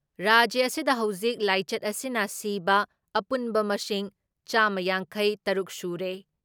ꯔꯥꯖ꯭ꯌ ꯑꯁꯤꯗ ꯍꯧꯖꯤꯛ ꯂꯥꯏꯆꯠ ꯑꯁꯤꯅ ꯁꯤꯕ ꯑꯄꯨꯟꯕ ꯃꯁꯤꯡ ꯆꯥꯝꯃ ꯌꯥꯡꯈꯩ ꯇꯔꯨꯛ ꯁꯨꯔꯦ ꯫